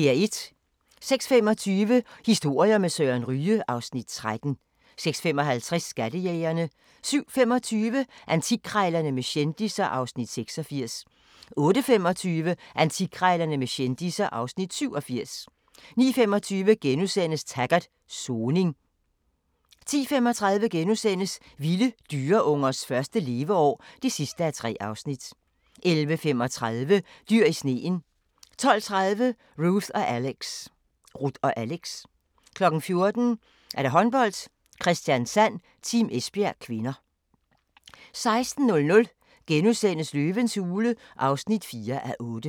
06:25: Historier med Søren Ryge (Afs. 13) 06:55: Skattejægerne 07:25: Antikkrejlerne med kendisser (Afs. 86) 08:25: Antikkrejlerne med kendisser (Afs. 87) 09:25: Taggart: Soning * 10:35: Vilde dyreungers første leveår (3:3)* 11:35: Dyr i sneen 12:30: Ruth & Alex 14:00: Håndbold: Kristiansand-Team Esbjerg (k) 16:00: Løvens hule (4:8)*